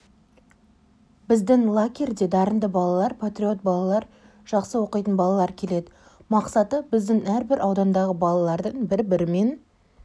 біздің лагерьде дарынды балалар патриот балалар жақсы оқитын балалар келеді мақсаты біздің әрбір аудандағы балалардың бір-бірімен